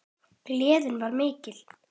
Gleðin var mikil.